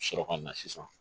Sɔrɔ ka na sisan